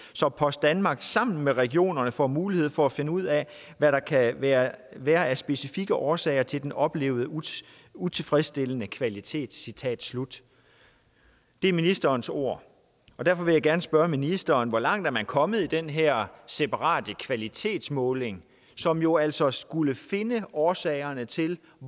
så post danmark sammen med regionerne får mulighed for at finde ud af hvad der kan være være af specifikke årsager til den oplevede utilfredsstillende kvalitet citat slut det er ministerens ord og derfor vil jeg gerne spørge ministeren hvor langt man er kommet i den her separate kvalitetsmåling som jo altså skulle finde årsagerne til